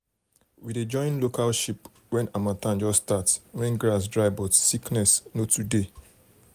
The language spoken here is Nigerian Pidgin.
we dey join local sheep when harmattan just start when grass dry but sickness no too dey.